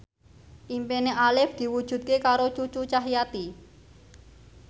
impine Arif diwujudke karo Cucu Cahyati